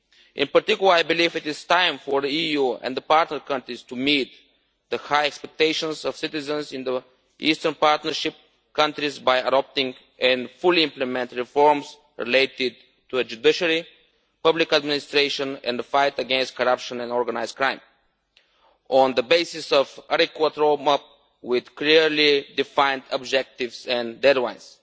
In particular, I believe it is time for the EU and the partner countries to meet the high expectations of citizens in the Eastern Partnership countries by adopting and fully implementing reforms related to the judiciary, public administration and the fight against corruption and organised crime, on the basis of an adequate road map with clearly defined objectives and deadlines.